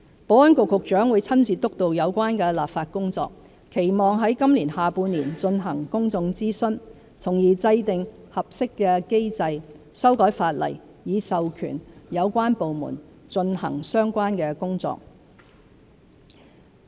保安局局長會親自督導有關立法工作，期望在今年下半年進行公眾諮詢，從而制訂合適的機制，修改法例以授權有關部門進行相關工作。